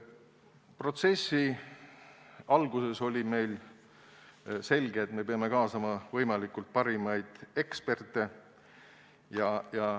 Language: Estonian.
Protsessi alguses oli meil selge, et me peame kaasama võimalikult parimaid eksperte.